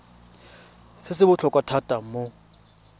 se se botlhokwa thata mo